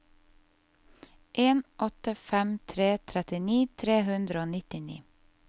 en åtte fem tre trettini tre hundre og nittini